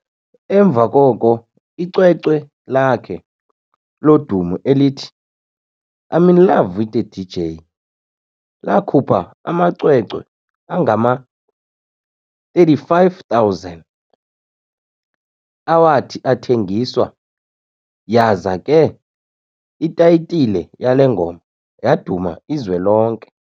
emva koko, icwecwe lakhe lodumo elithi "I'm in Love With a DJ", lakhupha amacwecwe angama-35,000 awathi athengiswa, yaza ke itayitile yale ngoma yaduma izwe lonke.